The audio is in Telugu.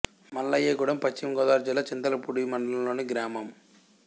మల్లాయగూడెం పశ్చిమ గోదావరి జిల్లా చింతలపూడి మండలం లోని గ్రామం